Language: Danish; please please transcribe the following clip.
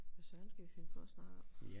Hvad søren skal vi finde på at snakke om